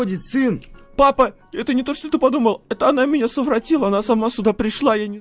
входит сын папа это не то что ты подумал это она меня совратила она сама сюда пришла я не